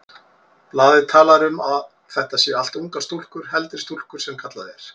Blaðið talar um að þetta séu allt ungar stúlkur, heldri stúlkur sem kallað er.